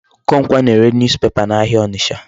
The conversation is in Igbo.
Okonkwo na-ere newspaper n'ahịa Ọnịcha.